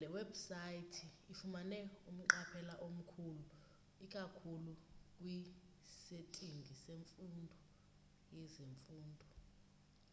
le webhusaythi ifumane umqaphela omkhulu ikakhulu kwisetingi yezemfundo